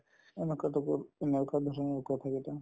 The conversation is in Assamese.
কথাকেইটা